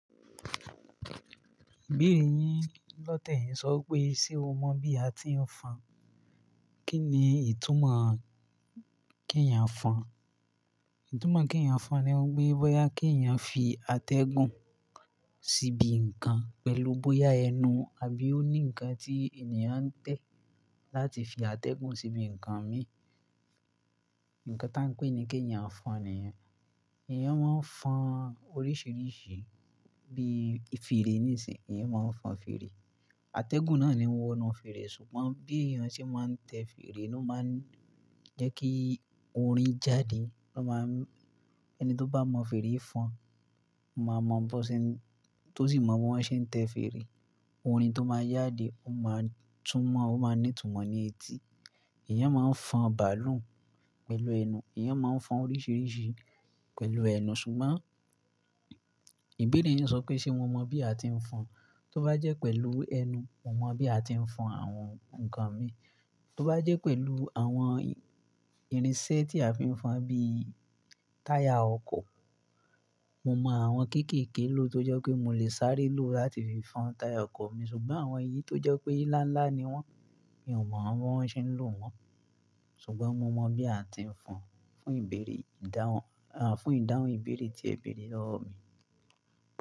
Ìbéèrè yín lọ́tẹ̀ yín sọ pé, ṣe o mọ̀ bí a ti ń fọn? Kí ni ìtumọ̀ kí èèyàn fọn? Ìtumọ̀ kí èèyàn fọn ni wípé bóyá kí èèyàn fi atẹ́gùn síbi ǹkan pẹ̀lú bóyá ẹnu àbí ó ní ǹkan tí ènìyàn ń tẹ̀ láti fi atẹ́gùn síbi ǹkan mi. Ǹkan tá a ń pè ní kí èèyàn fọn nìyẹn. Èèyàn máa ń fọn oríṣìíríṣìí bí i fèrè níṣìnyí. Èèyàn máa ń fọn fèrè. Atẹ́gùn náà ni wọ́n ń fi fèrè ṣùgbọ́n bí èèyàn ṣe máa ń tẹ fèrè ló máa ń jẹ́ kí orin jáde. Ó máa ń-- ẹni tó bá mọ fèrè fọn máa mọ bó ṣe ń-- tó sì mọ bí wọ́n ṣe ń tẹ fèrè, orin tó máa jáde ó máa túmọ̀, ó máa ní ìtumọ̀ ní etí. Ẹ̀yàn máa ń fọn bàálù pẹ̀lú ẹnu, èèyàn máa ń fọn oríṣìíríṣìí pẹ̀lú ẹnu ṣùgbọ́n ìbéèrè yín sọ pé ṣe mo mọ̀ bí a ti ń fọn? Tó bá jẹ́ pẹ̀lú ẹnu, mo mọ̀ bí a ti ń fọn àwọn ǹkan mi. Tó bá jẹ́ pẹ̀lú àwọn irinṣẹ́ tí a fi ń fọn bí i táyà ọkọ̀, mo mọ àwọn kéékèèké ló tó jẹ́ pé mo lè sáré lò láti fi fọn táyà ọkọ̀ mi ṣùgbọ́n àwọn èyí tó jẹ́ pé ńlá ńlá ni wọ́n, mi ò mọ bí wọ́n ṣe ń lò wọ́n. Ṣùgbọ́n mo mọ̀ bí a ti ń fọn fún ìbéèrè ìdáhùn, à, fún ìdáhùn ìbéèrè tí ẹ̀béèrè rọ̀ mí.